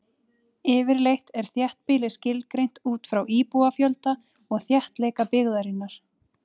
Yfirleitt er þéttbýli skilgreint út frá íbúafjölda og þéttleika byggðarinnar.